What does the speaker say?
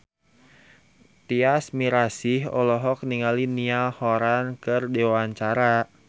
Tyas Mirasih olohok ningali Niall Horran keur diwawancara